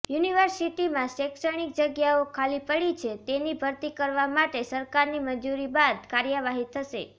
યુનિવર્સિટીમાં શૈક્ષણિક જગ્યાઓ ખાલી પડી છે તેની ભરતી કરવા માટે સરકારની મંજૂરી બાદ કાર્યવાહી થશે